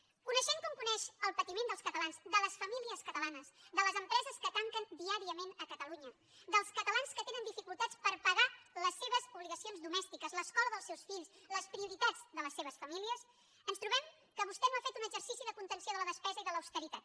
coneixent com coneix el patiment dels catalans de les famílies catalanes de les empreses que tanquen diàriament a catalunya dels catalans que tenen dificultats per pagar les seves obligacions domèstiques l’escola dels seus fills les prioritats de les seves famílies ens trobem que vostè no ha fet un exercici de contenció de la despesa i de l’austeritat